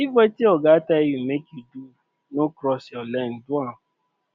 if wetin oga tell you make you no cross your lane do am